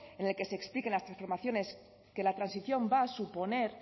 en el que se expliquen las transformaciones que la transición va a suponer